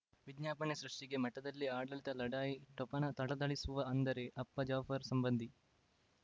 ವಿಜ್ಞಾಪನೆ ಸೃಷ್ಟಿಗೆ ಮಠದಲ್ಲಿ ಆಡಳಿತ ಲಢಾಯಿ ಠೊಪಣ ಥಳಥಳಿಸುವ ಅಂದರೆ ಅಪ್ಪ ಜಾಫರ್ ಸಂಬಂಧಿ